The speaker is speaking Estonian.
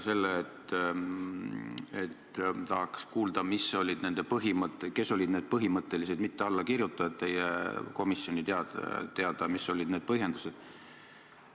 Tahaks kuulda, kes olid need põhimõttelised mitteallakirjutajad, kui need on komisjonile teada, ja mis olid nende põhjendused.